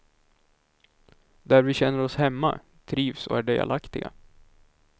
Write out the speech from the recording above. Där vi känner oss hemma, trivs och är delaktiga.